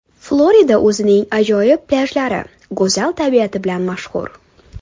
Florida o‘zining ajoyib plyajlari, go‘zal tabiati bilan mashhur.